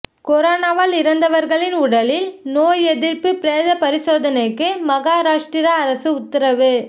கொரோனாவால் இறந்தவர்களின் உடலில் நோய் எதிர்ப்பு பிரேத பரிசோதனைக்கு மகாராஷ்டிரா அரசு உத்தரவு